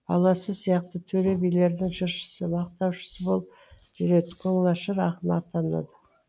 баласы сияқты төре билердің жыршысы мақтаушысы болып жүреді көңілашар ақын атанады